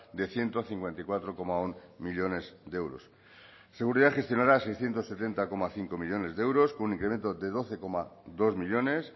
de ciento cincuenta y cuatro coma uno millónes de euros seguridad gestionará seiscientos sesenta coma cinco millónes de euros con un incremento de doce coma dos millónes